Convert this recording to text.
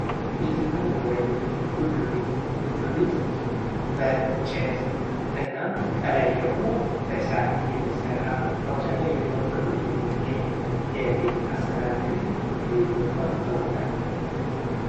ቤት እና መኖሪያ ቤቶች ፦ ጎጆ ቤት ፦ ጎጆ ቤት በእንጨት እና ከላይ ደግሞ በሳር የሚሰራ በአብዛኛው የገጠሩ ክፍል የሚገኝ የቤት አሰራር ዘዴ ጎጆ ቤት በመባል ይታወቃል ።